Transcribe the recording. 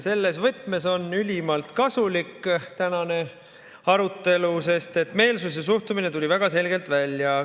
Selles võtmes on ülimalt kasulik tänane arutelu, sest meelsus ja suhtumine tuli väga selgelt välja.